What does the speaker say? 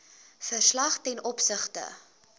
verslag ten opsigte